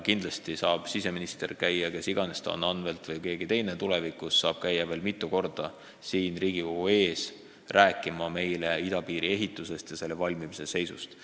Kindlasti saab siseminister – kes iganes ta on, Anvelt või tulevikus keegi teine – veel mitu korda käia siin Riigikogu ees rääkimas meile idapiiri ehituse seisust.